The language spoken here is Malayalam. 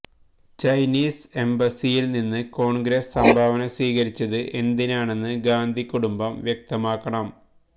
ചൈനീസ് എംബസിയിൽ നിന്ന് കോൺഗ്രസ് സംഭാവന സ്വീകരിച്ചത് എന്തിനാണെന്ന് ഗാന്ധി കുടുംബം വ്യക്തമാക്കണം